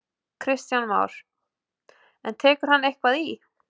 Kristján Már: En tekur hann eitthvað í?